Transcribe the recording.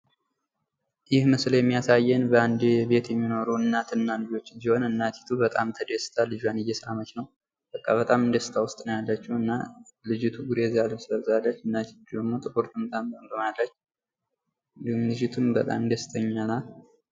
ይህ ምሽል የሚያሳየን በአንድ ቤት የሚኖሩ እናት እና ልጆችን ሲሆን እናቲቱ በጣም ተደስታ ልጇን እየሳመች ነው። በቃ በጣም ደስታ ውስጥ ነው ያለችው። እና ልጅቱ ጉሬዛ ልብስ ለብሳለች። እናቲቱ ደግሞ ጥቁር ጥምጣም ጠምጥማለች። ልጂቱም በጣም ደስተኛ ናት።